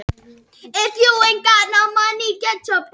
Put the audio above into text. Til eru ýmsar útgáfur af rakakremum sem ætlaðar eru fyrir bað og sturtu.